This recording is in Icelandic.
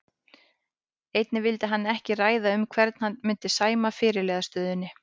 Einnig vildi hann ekki ræða um hvern hann myndi sæma fyrirliðastöðunni.